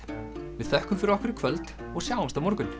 við þökkum fyrir okkur í kvöld og sjáumst á morgun